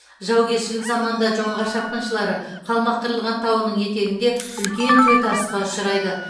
жаугершілік заманда жоңғар шапқыншылары қалмаққырылған тауының етегінде үлкен тойтарысқа ұшырайды